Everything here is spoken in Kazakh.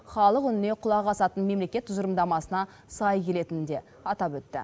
халық үніне құлақ асатын мемлекет тұжырымдамасына сай келетінін де атап өтті